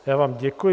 Já vám děkuji.